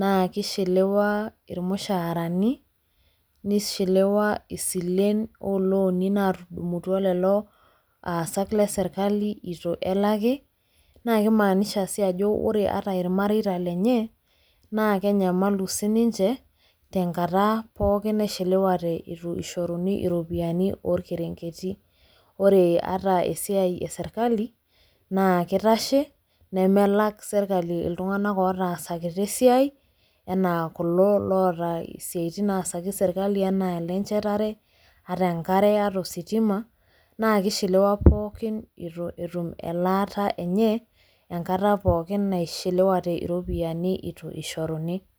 naake ishelewa irmushaarani, nishilewa isilen oo looni naatudumutua lelo aasak le serkali itu elaki naake imaanisha sii ajo ore ata irmareita lenye naake enyamalu sininje tenkata pookin naishelewate itu ishoruni iropiani orkerenketi. Ore ata esiai e serkali naa kitashe nemelak serkali iltung'anak ootasakitia esiai enaa kulo loota isiaitin naasaki serkali enaa ile nchetare, ata enkare ata ositima naa kishiliwa pookin itu etum elaata enye enkata pookin naishilewate iropiani itu ishoruni.